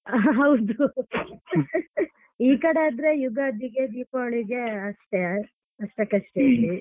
ಹೌದು ಈ ಕಡೆ ಆದ್ರೆ ಯುಗಾದಿಗೆ ದೀಪಾವಳಿಗೆ ಅಷ್ಟೇ ಅಷ್ಟಕಷ್ಟೇ.